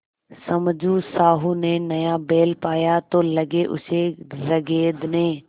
समझू साहु ने नया बैल पाया तो लगे उसे रगेदने